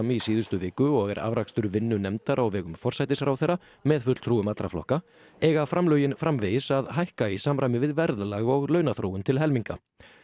í síðustu viku og er afrakstur vinnu nefndar á vegum forsætisráðherra með fulltrúum allra flokka eiga framlögin framvegis að hækka í samræmi við verðlag og launaþróun til helminga